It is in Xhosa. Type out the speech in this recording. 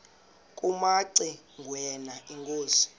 kumaci ngwana inkosi